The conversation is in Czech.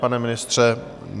Pane ministře?